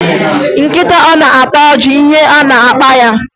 Nkịta ọ na-ata ọjị ihe ọ na-akpa ya?